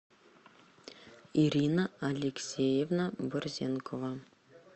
ирина алексеевна борзенкова